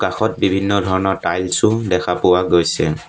কাষত বিভিন্ন ধৰণৰ টাইলছো দেখা পোৱা গৈছে।